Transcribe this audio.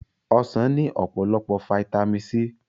Ọsàn ní ọ̀pọ̀lọpọ̀ Fáítámì C